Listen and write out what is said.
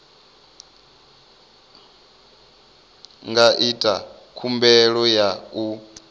nga ita khumbelo ya u